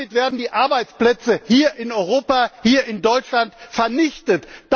Damit werden die Arbeitsplätze hier in Europa, hier in Deutschland vernichtet!